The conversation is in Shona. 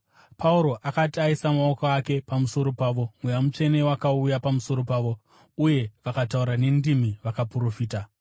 Pauro akati aisa maoko ake pamusoro pavo, Mweya Mutsvene wakauya pamusoro pavo, uye vakataura nendimi vakaprofita.